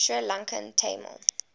sri lankan tamil